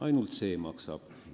Ainult see maksab.